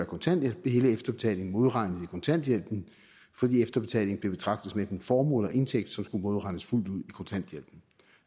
kontanthjælp blev hele efterbetalingen modregnet i kontanthjælpen fordi efterbetaling blev betragtet som enten formue eller indtægt som skulle modregnes fuldt ud i kontanthjælpen